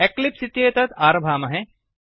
Eclipse इत्येतत् आरभामहे